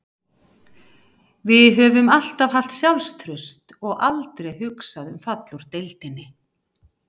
Við höfum alltaf haft sjálfstraust og aldrei hugsað um fall úr deildinni